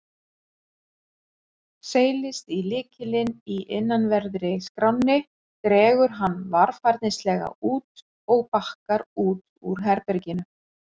Seilist í lykilinn í innanverðri skránni, dregur hann varfærnislega út og bakkar út úr herberginu.